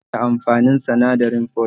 Me nene amfanin sinadarin folic?